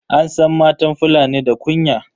An san matan fulani da kunya